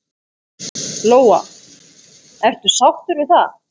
Lóa: Ertu sáttur við það?